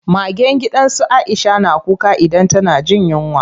Magen gidan su Aisha na kuka idan tana jin yunwa.